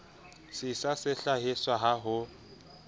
sisa se hlahiswang ha ho